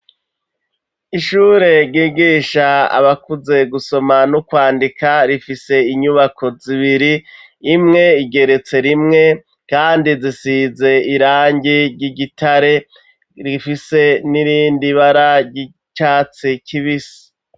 Ishure ry'igisha abakuze gusoma no kwandika rifise inyubako zibiri imwe igeretse rimwe kandi zisize irangi ry'igitare rifise n'irindi bara ry'icatsi kibisi